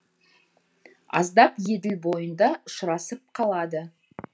аздап еділ бойында ұшырасып қалады